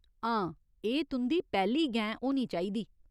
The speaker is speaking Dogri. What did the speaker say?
हां, एह् तुं'दी पैह्‌ली गैं होनी चाहिदी।